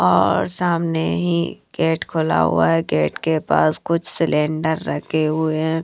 और सामने ही गेट खोला हुआ है गेट के पास कुछ सिलेंडर रखे हुए हैं।